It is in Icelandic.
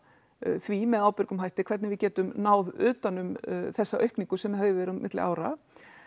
því með ábyrgum hætti hvernig við getum náð utan um þessa aukningu sem hefur verið á milli ára